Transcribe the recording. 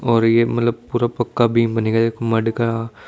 और ये मतलब पूरा पक्का बीम बनेगा एक मडगा--